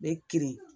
Ne kirin